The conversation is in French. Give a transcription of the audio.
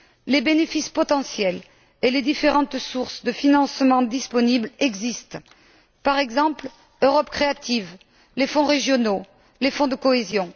Des bénéfices potentiels et différentes sources de financement disponibles existent par exemple, Europe créative, les fonds régionaux, les fonds de cohésion.